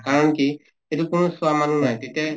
কাৰণ কি এইটোত কোনো চোৱা মানুহ নাই তেতিয়া